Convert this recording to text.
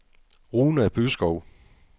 Runa Byskov